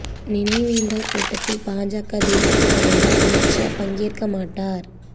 நினைவேந்தல் கூட்டத்தில் பாஜக தேசிய தலைவர் அமித் ஷா பங்கேற்க மாட்டார்